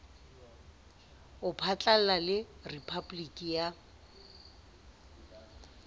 ho phatlalla le rephaboliki ya